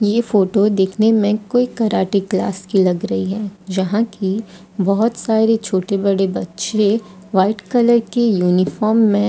ये फोटो देखने में कोई कराटे क्लास की लग रही है जहां की बहोत सारी छोटे बड़े बच्चे व्हाइट कलर की यूनिफॉर्म में --